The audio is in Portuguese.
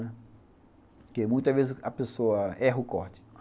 Porque, muitas vezes, a pessoa erra o corte.